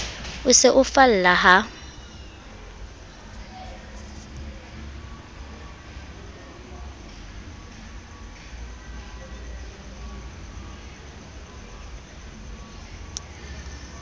o se o falla ha